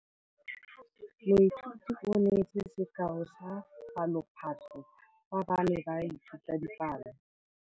Moithuti o neetse sekaô sa palophatlo fa ba ne ba ithuta dipalo.